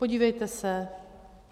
Podívejte se.